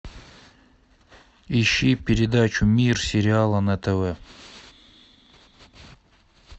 ищи передачу мир сериала на тв